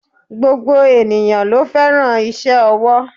Gbogbo ènìyãn lo féràn ise owó